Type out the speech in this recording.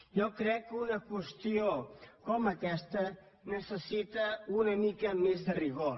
jo crec que una qüestió com aquesta necessita una mica més de rigor